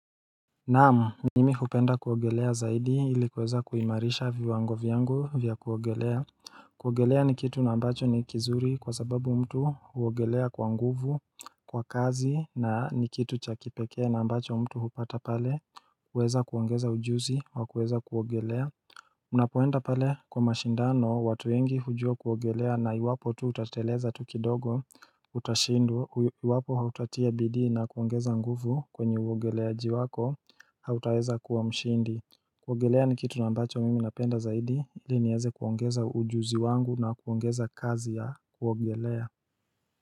Naamu, mimi hupenda kuogelea zaidi ilikuweza kuimarisha viwango viangu vya kuogelea kuogelea ni kitu na ambacho ni kizuri kwa zababu mtu uogelea kwa nguvu kwa kazi na ni kitu chakipekea na ambacho mtu hupata pale kuweza kuongeza ujuzi wa kuweza kuogelea Unapoenda pale kwa mashindano watuengi hujua kuongelea na iwapo tu utateleza tukidogo utashindu iwapo hautatia bidii na kuongeza nguvu kwenye uongeleaji wako hautaeza kuwa mshindi kuogelea ni kitu nambacho mimi napenda zaidi ili nieze kuongeza ujuzi wangu na kuongeza kazi ya kuogelea.